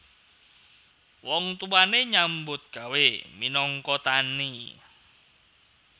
Wong tuwane nyambut gawé minangka tani